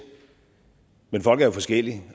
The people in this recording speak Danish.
men folk er jo forskellige